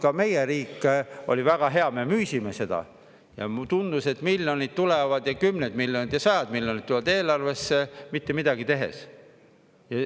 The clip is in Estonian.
Ka meie riik oli väga hea, me müüsime seda, ja tundus, et miljonid tulevad ja kümned miljonid ja sajad miljonid tulevad eelarvesse mitte midagi tehes.